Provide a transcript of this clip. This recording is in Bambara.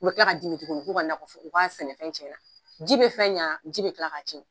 U bɛ tila ka dimi tuguni k'u ka nakɔforo k'a sɛnɛfɛn tiɲɛna ji bɛ fɛn ɲɛ ji bɛ tila k'a tiɲɛ